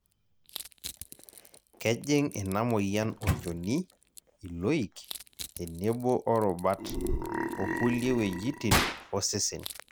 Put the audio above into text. kejing ina moyian olchoni, iloik, tenebo o rubat,o kulie wuejitin osesen